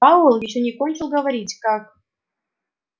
пауэлл ещё не кончил говорить как